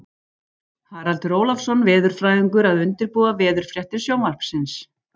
Haraldur Ólafsson veðurfræðingur að undirbúa veðurfréttir Sjónvarpsins.